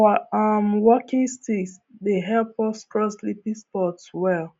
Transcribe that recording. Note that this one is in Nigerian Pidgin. our um walking stick dey help us cross slippery spots well